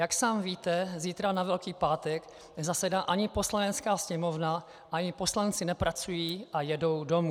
Jak sám víte, zítra, na Velký pátek, nezasedá ani Poslanecká sněmovna ani poslanci nepracují a jedou domů.